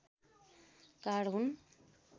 card हुन्